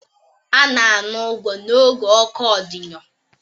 A na-ana ụgwọ n'oge oku ọdịyo